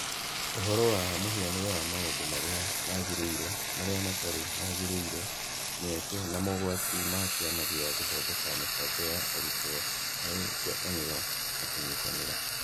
Ũhoro wa mũhianĩre wa maũndũ marĩa magĩrĩire, marĩa matarĩ magĩrĩire, mĩeke, na mogwati ma Kĩama gĩa gũthondeka mĩbango ya arutwo harĩ ngwatanĩro na kũnyitanĩra.